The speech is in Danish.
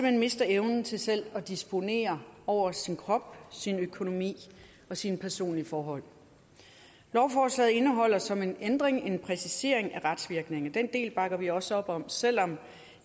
hen mister evnen til selv at disponere over sin krop sin økonomi og sine personlige forhold lovforslaget indeholder som en ændring en præcisering af retsvirkningen og den del bakker vi også op om selv om